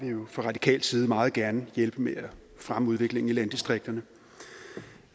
jo fa radikal side meget gerne hjælpe med at fremme udviklingen i landdistrikterne